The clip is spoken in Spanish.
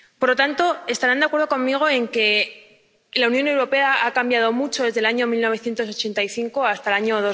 Por lo tanto, estarán de acuerdo conmigo en que la Unión Europea ha cambiado mucho desde el año 1985 hasta el año